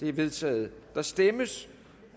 er vedtaget der stemmes